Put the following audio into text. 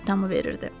Çiftdamı verirdi.